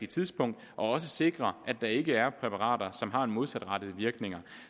tidspunkt og også sikrer at der ikke er præparater som har modsatrettede virkninger